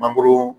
Mangoro